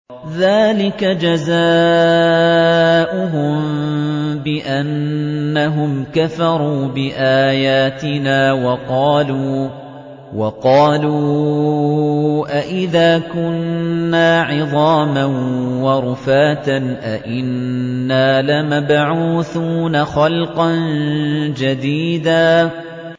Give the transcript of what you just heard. ذَٰلِكَ جَزَاؤُهُم بِأَنَّهُمْ كَفَرُوا بِآيَاتِنَا وَقَالُوا أَإِذَا كُنَّا عِظَامًا وَرُفَاتًا أَإِنَّا لَمَبْعُوثُونَ خَلْقًا جَدِيدًا